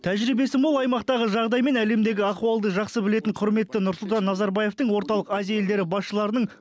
тәжірибесі мол аймақтағы жағдай мен әлемдегі ахуалды жақсы білетін құрметті нұрсұлтан назарбаевтың орталық азия елдері басшыларының